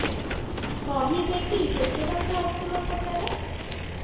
କହିବେକି କେତେ ଟଙ୍କା ଅଛି ମୋ ଖାତା ରେ